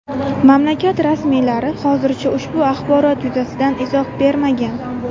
Mamlakat rasmiylari hozircha ushbu axborot yuzasidan izoh bermagan.